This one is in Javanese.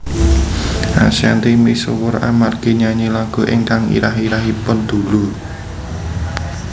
Ashanty misuwur amargi nyanyi lagu ingkang irah irahanipun Dulu